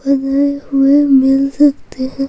बनाये हुए मिल सकते है।